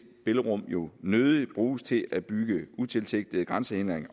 spillerum jo nødig bruges til at bygge utilsigtede grænsehindringer